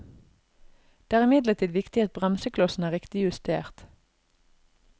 Det er imidlertid viktig at bremseklossene er riktig justert.